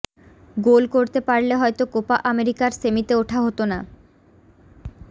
গোল করতে পারলে হয়তো কোপা আমেরিকার সেমিতে ওঠা হতো না